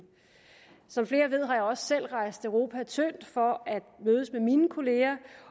som flere ved har jeg også selv rejst europa tyndt for at mødes med mine kollegaer